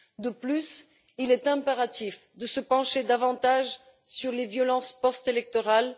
De plus, il est impératif de se pencher davantage sur les violences post électorales.